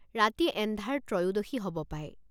ৰাতি এন্ধাৰ ত্ৰয়োদশী হ'ব পায় ।